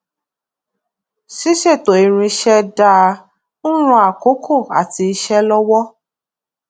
ṣíṣètò irinṣẹ dáa ń ran àkókò àti iṣé lówó